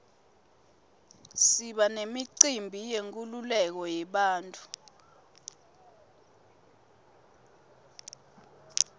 siba nemicimbi yenkululeko yebantfu